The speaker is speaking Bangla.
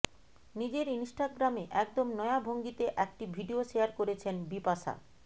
নিজের ইনস্টাগ্রামে একদম নয়া ভঙ্গিতে একটি ভিডিও শেয়ার করেছেন বিপাশা